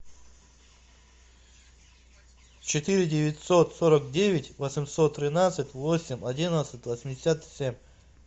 четыре девятьсот сорок девять восемьсот тринадцать восемь одиннадцать восемьдесят семь